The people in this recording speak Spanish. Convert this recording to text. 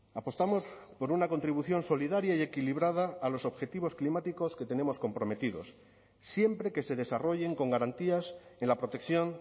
apostamos por una contribución solidaria y equilibrada a los objetivos climáticos que tenemos comprometidos siempre que se desarrollen con garantías en la protección